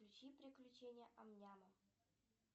включи приключения ам ням